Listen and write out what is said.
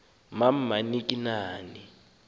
nam anilazi nani